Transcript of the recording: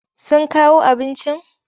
Sun kawo abincin?